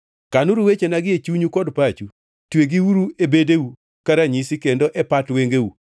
Kanuru wechenagi e chunyu kod pachu, twegiuru e bedeu ka ranyisi kendo e pat wengeu.